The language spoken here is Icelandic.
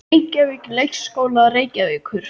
Reykjavík: Leikskólar Reykjavíkur.